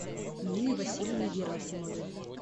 нины васильевны герасимовой